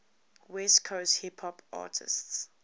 west coast hip hop artists